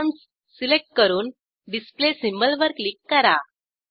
atoms select करून display symbol वर click करा